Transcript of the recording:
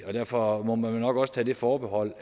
og derfor må man også tage det forbehold